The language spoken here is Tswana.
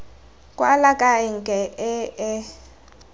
kwala ka enke e e